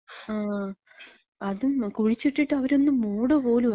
ങാ. അത് കുഴിച്ചിട്ടിട്ട് അവരൊന്ന് മൂട പോലുല്ല.